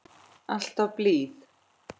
Alltaf blíð.